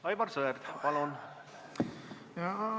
Aivar Sõerd, palun!